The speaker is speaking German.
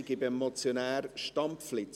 Kann ihn noch jemand einloggen?